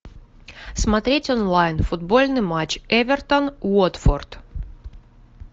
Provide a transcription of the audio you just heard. смотреть онлайн футбольный матч эвертон уотфорд